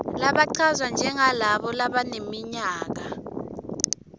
labachazwa njengalabo labaneminyaka